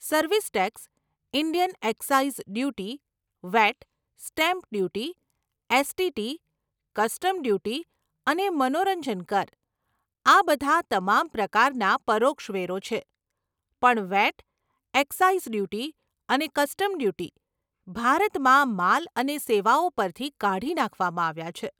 Service tax, Indian excise duty, VAT, stamp duty, STT, custom duty અને મનોરંજન કર, આ બધાં તમામ પ્રકારના પરોક્ષ વેરો છે, પણ વેટ, એક્સાઈઝ ડ્યુટી અને કસ્ટમ ડ્યુટી ભારતમાં માલ અને સેવાઓ પરથી કાઢી નાંખવામાં આવ્યાં છે.